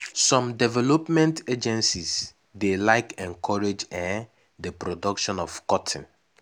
some development agencies dey like encourage um d production of cotton.